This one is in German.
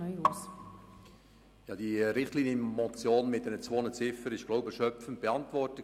Diese Richtlinienmotion mit zwei Ziffern ist wohl erschöpfend beantwortet.